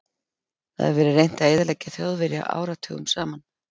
Það hefur verið reynt að eyðileggja Þjóðverja áratugum saman.